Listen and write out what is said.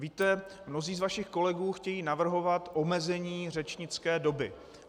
Víte, mnozí z vašich kolegů chtějí navrhovat omezení řečnické doby.